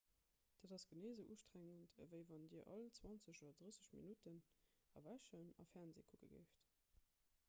dat ass genee esou ustrengend ewéi wann dir all 20 oder 30 minutten erwächen a fernsee kucke géift